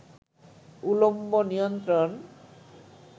উলম্ব নিয়ন্ত্রণ